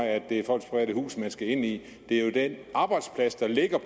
at det er folks private hus man skal ind i det er jo den arbejdsplads der ligger